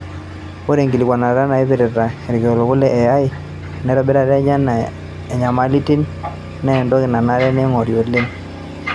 Ore inkikilikuanata naipirta ilikiliku le AI, enitobirata enye o nyamalitin na entoki nanare neingori oleng'.